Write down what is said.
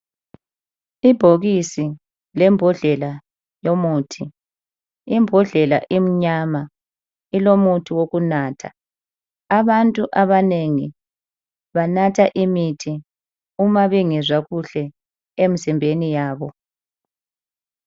Ibhokisi lembodlela yomuthi. Imbodlela imnyama, ilomuthi wokunatha. Abantu abanengi banatha imithi uma bengezwa kuhle emzimbeni yabo.